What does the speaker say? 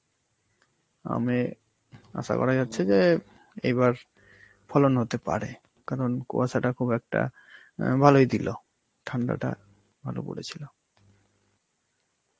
আমে আশা করা যাচ্ছে যে এইবার ফলন হতে পারে, কারণ কুয়াশা তা খুব একটা অ্যাঁ ভালোই দিল, ঠান্ডা তো ভালো পরে ছিল.